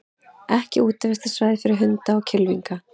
Ekki útivistarsvæði fyrir hunda og kylfinga